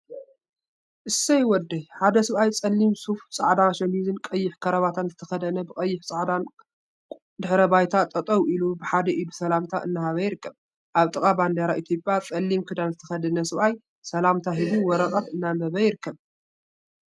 ሰይ ወደይ ! ሓደ ሰብአይ ፀሊም ሱፍ፣ ፃዕዳ ሸሚዝን ቀይሕ ከረባታን ዝተከደነ ብቀይሕን ቆፃልን ድሕረ ባይታ ጠጠው ኢሉ ብሓደ ኢዱ ሰላምታ እናሃበ ይርከብ፡፡ አብ ጥቃ ባንዴራ ኢትዮጵያ ጸሊም ክዳን ዝተከደነ ሰብአይ ሰላምታ ሂቡ ወረቀት እናአንበበ ይርከብ፡፡